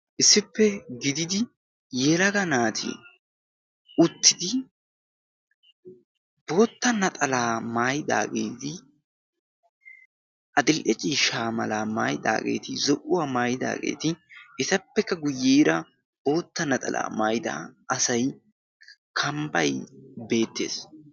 issippe gididi yelaga naati uttidi bootta naxalaa maayidaageedi axil77eccii shaamalaa maayidaageeti zo77uwaa maayidaageeti etappekka guyyiera bootta naxalaa maayida asai kambbai beettees